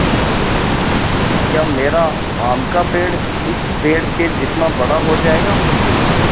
या मेरा आम का पेड़ इस पेड़ के जितना बड़ा हो जायेगा